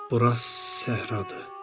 Bura səhra.